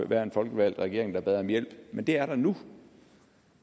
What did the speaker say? være en folkevalgt regering der bad om hjælp men det er der nu